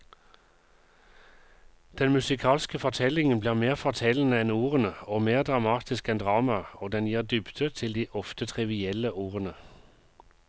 Den musikalske fortellingen blir mer fortellende enn ordene og mer dramatisk enn dramaet, og den gir en dybde til de ofte trivielle ordene.